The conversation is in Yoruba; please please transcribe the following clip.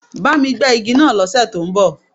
Bá mi gbẹ́ igi náà lọ́ sẹ̀ tó ń bọ̀.